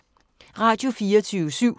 Radio24syv